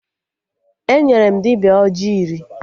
Enyere m dibịa ọjị iri